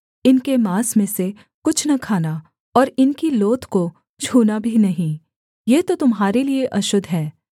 इनके माँस में से कुछ न खाना और इनकी लोथ को छूना भी नहीं ये तो तुम्हारे लिये अशुद्ध है